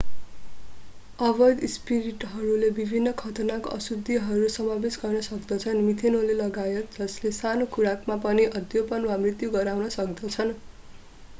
अवैध स्पिरिटहरूले विभिन्न खतरनाक अशुद्धिहरू समावेश गर्न सक्दछन् मिथेनोल लगायत जसले सानो खुराकमा पनि अन्धोपन वा मृत्यु गराउन सक्दछन्